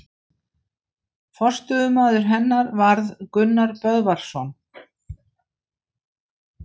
Forstöðumaður hennar varð Gunnar Böðvarsson.